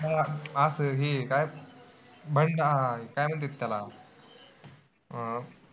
असं हे काय काय म्हणतात त्याला अं